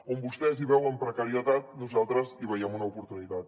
on vostès veuen precarietat nosaltres veiem una oportunitat